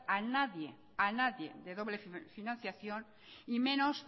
a nadie de doble financiación y menos